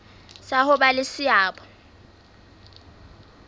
sa ho ba le seabo